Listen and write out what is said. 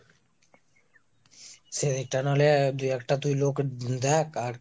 সেদিকটা নাহলে দুই একটা লোক তুই দেখ আর